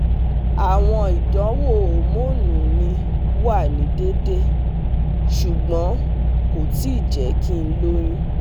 Awọn idanwo homonu mi wa ni deede, ṣugbọn ko ti jẹ ki n loyun